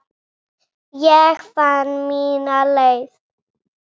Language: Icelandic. Ég fann mína leið.